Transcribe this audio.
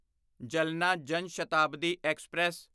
ਜਲਣਾ ਜਾਨ ਸ਼ਤਾਬਦੀ ਐਕਸਪ੍ਰੈਸ